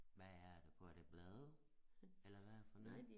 Hvad er det for det blad eller hvad er det for noget